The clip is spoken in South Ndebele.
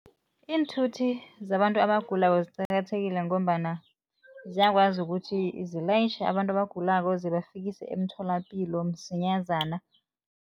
Iinthuthi zabantu abagulako ziqakathekile ngombana ziyakwazi ukuthi zilayitjha abantu abagulako zibafikisa emtholapilo msinyazana.